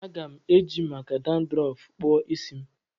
Aga m eji maka dandrọfu kpụọ isi m